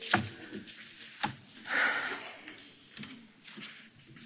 Jó napot kívánok, sok szeretettel üdvözlöm önöket a mai vitán.